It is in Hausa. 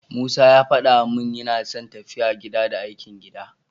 Musa ya faɗa min yana son tafiya gida, da aikin gida.